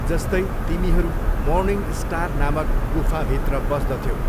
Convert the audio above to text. जस्तै, तिमीहरू मर्निङस्टार नामक गुफभित्र बस्दथ्यौ।